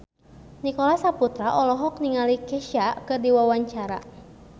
Nicholas Saputra olohok ningali Kesha keur diwawancara